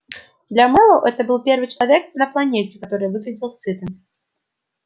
для мэллоу это был первый человек на планете который выглядел сытым